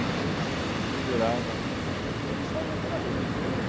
Né aí você pendurava lá a caixa de isopor e saía pela rua.